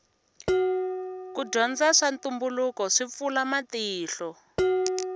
ku dyondza ta ntumbuluko swi pfula matihlo